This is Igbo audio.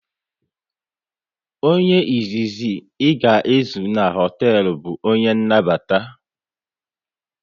Onye izizi ị ga ezu na hoteelu bụ onye nnabata